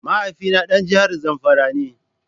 Mahaifina dan jihar Zamfara ne.